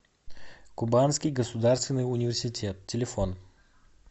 кубанский государственный университет телефон